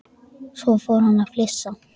Svo fór hann að flissa.